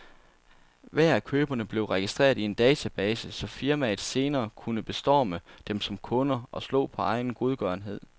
Hver af køberne blev registreret i en database, så firmaet senere kunne bestorme dem som kunder og slå på egen godgørenhed.